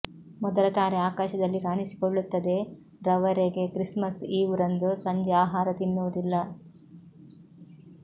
ಮೊದಲ ತಾರೆ ಆಕಾಶದಲ್ಲಿ ಕಾಣಿಸಿಕೊಳ್ಳುತ್ತದೆ ರವರೆಗೆ ಕ್ರಿಸ್ಮಸ್ ಈವ್ ರಂದು ಸಂಜೆ ಆಹಾರ ತಿನ್ನುವುದಿಲ್ಲ